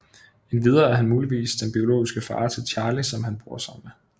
Endvidere er han muligvis den biologiske far til Charlie som han bor sammen med